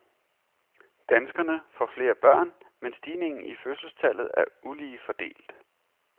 Danskerne får flere børn, men stigningen i fødselstallet er ulige fordelt.